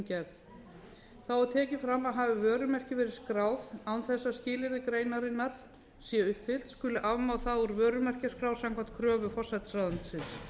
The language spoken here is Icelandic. gerð þá er tekið fram að hafi vörumerki verið skráð án þess að skilyrði greinarinnar séu uppfyllt skuli afmá það úr vörumerkjaskrá samkvæmt kröfu forsætisráðuneytisins